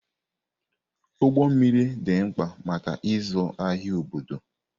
Ụgbọ mmiri dị mkpa maka ịzụ ahịa obodo.